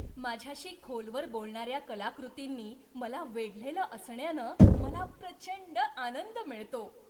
माझ्याशी खोलवर बोलणार्या कलाकृतींनी मला वेढलेलं असण्यानं मला प्रचंड आनंद मिळतो.